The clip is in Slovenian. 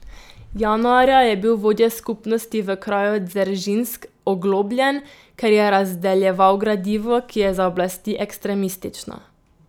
Januarja je bil vodja skupnosti v kraju Dzeržinsk oglobljen, ker je razdeljeval gradivo, ki je za oblasti ekstremistično.